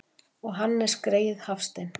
Og Hannes greyið Hafstein!